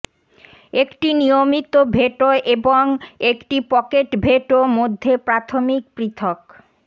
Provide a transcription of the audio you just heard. একটি নিয়মিত ভেটো এবং একটি পকেট ভেটো মধ্যে প্রাথমিক পৃথক